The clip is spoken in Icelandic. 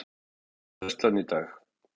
Síðasta færslan í dag.